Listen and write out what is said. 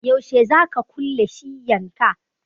Yaushe za ka kulle shiyyan ka?